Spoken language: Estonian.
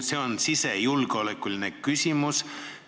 See on sisejulgeoleku küsimus.